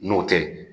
N'o tɛ